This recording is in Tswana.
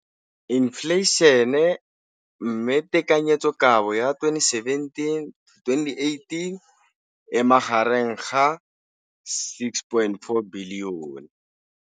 Infleišene, mme tekanyetsokabo ya 2017, 18, e magareng ga R6.4 bilione.